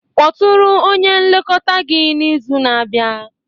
Kpọtụrụ onye nlekọta gị n'izu na-abịa